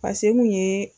pase n kun ye